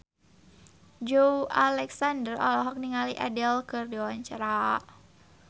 Joey Alexander olohok ningali Adele keur diwawancara